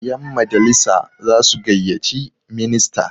yanmajalisa za su gaiyyaci minista